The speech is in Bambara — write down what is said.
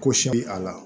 Ko se bi a la